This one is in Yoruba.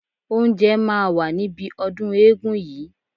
Oúnjẹ máa wà níbi ọdún eégún yìí.